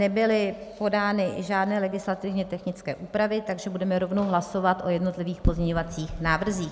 Nebyly podány žádné legislativně technické úpravy, takže budeme rovnou hlasovat o jednotlivých pozměňovacích návrzích.